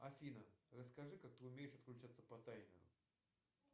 афина расскажи как ты умеешь отключаться по таймеру